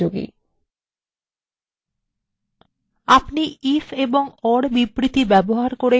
অনেক বেশি তথ্যের ক্ষেত্রে এই বিবৃতির ব্যবহার খুবই উপযোগী